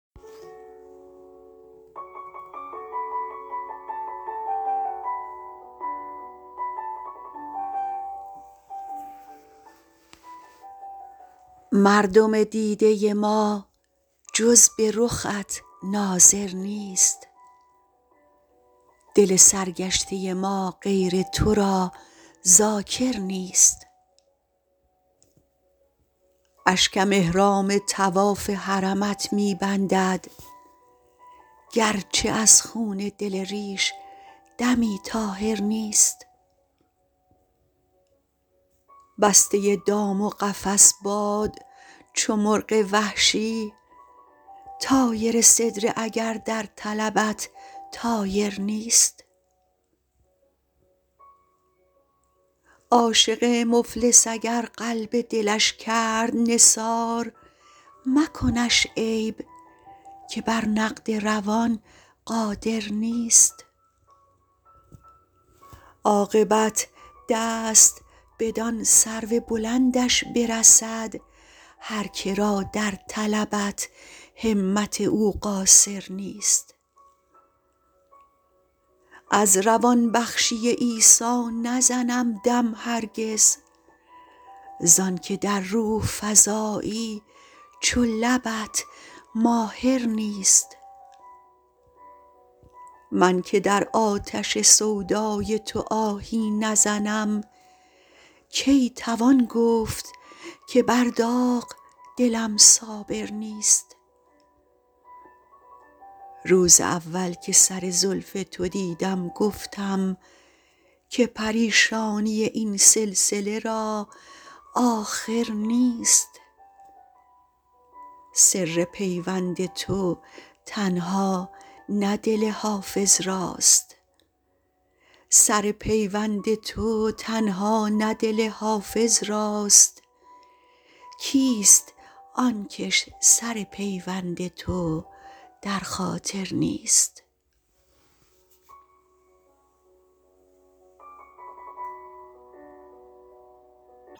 مردم دیده ما جز به رخت ناظر نیست دل سرگشته ما غیر تو را ذاکر نیست اشکم احرام طواف حرمت می بندد گرچه از خون دل ریش دمی طاهر نیست بسته دام و قفس باد چو مرغ وحشی طایر سدره اگر در طلبت طایر نیست عاشق مفلس اگر قلب دلش کرد نثار مکنش عیب که بر نقد روان قادر نیست عاقبت دست بدان سرو بلندش برسد هر که را در طلبت همت او قاصر نیست از روان بخشی عیسی نزنم دم هرگز زان که در روح فزایی چو لبت ماهر نیست من که در آتش سودای تو آهی نزنم کی توان گفت که بر داغ دلم صابر نیست روز اول که سر زلف تو دیدم گفتم که پریشانی این سلسله را آخر نیست سر پیوند تو تنها نه دل حافظ راست کیست آن کش سر پیوند تو در خاطر نیست